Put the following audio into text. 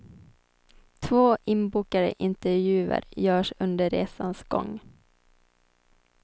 Två inbokade intervjuer görs under resans gång.